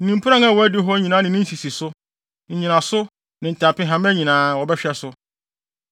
ne mpuran a ɛwɔ adiwo hɔ nyinaa ne ne nsisiso, nnyinaso, ne ntampehama nyinaa, wɔbɛhwɛ so.